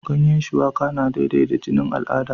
Ganyan shuwaka na daidaita jinin al'ada